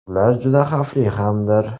Ular juda xavfli hamdir.